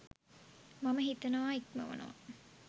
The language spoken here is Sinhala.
මම හිතනවා ඉක්මවනවා.